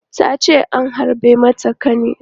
Ta ce an harbe mata ƙani.